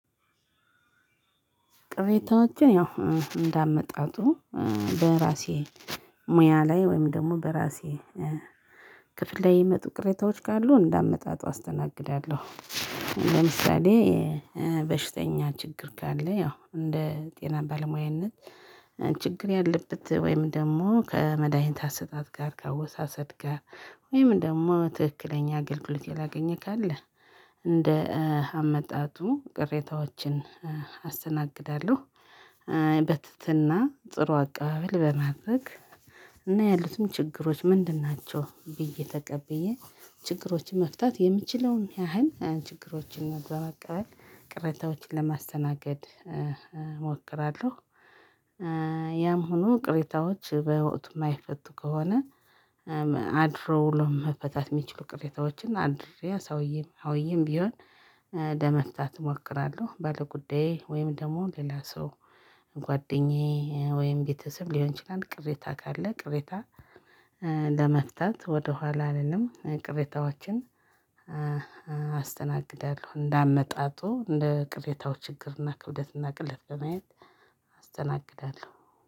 ቅሬታዎችን ያው እንዳመጣጡ በራሴ ሙያ ላይ ወይም ደግሞ በራሴ ክፍል ላይ የመጡ ቅሬታዎች ካሉ እንዳመጣጡ አስተናግዳለሁ አሁን ለምሳሌ በሽተኛ ችግር ካለ ያው እንደ ጤና ባለሙያነት ችግር ያለበት ወይም ደግሞ ከመድሃኒት አሰጣጥ ጋር ከአወሳሰድ ጋር ወይም ደግሞ ትክክለኛ አገልግሎት ያላገኘ ካለ እንደ አመጣጡ ቅሬታዎችን አስተናግዳለሁ። በትትና ጥሩ አቀባበል በማድረግ እና ያሉትም ችግሮች ምንድን ናቸው ብዬ ተቀብዬ ችግሮን መፍታት የምችለውን ያህል ችግሮችን በመቀበል ቅርንታዎችን ለማስተናገድ እሞክራለሁ። ያም ሆኖ ቅሬታዎች በወቅቱ የማይፈቱ ከሆነ አድሮ ውሎም ለመፈታት የሚችሉ ቅሬታዎችን አድሪያ ሰውዬም አውዬም ቢሆን ለመፍታት እሞክራለሁ። ባለጉዳዬ ወይም ደግሞ ሌላ ሰው ጓደኛዬ ወይም ቤተሰብ ሊሆን ይችላል ቅሬታ ካለ ቅሬታ ለመፍታት ወደኋላ አልልም። ቅሬታዎችን አስተናግዳለሁ እንዳመጣጡ እንደ ቅሬታው ችግርና ክብደትና ቅለት በማየት አስተናግዳለሁ።